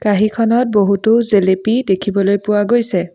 কাঁহীখনত বহুতো জেলেপি দেখিবলৈ পোৱা গৈছে।